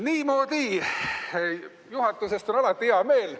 Niimoodi, juhatusest on alati hea meel.